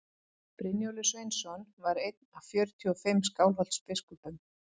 brynjólfur sveinsson var einn af fjörutíu og fimm skálholtsbiskupum